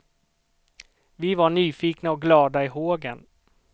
Vi var nyfikna och glada i hågen.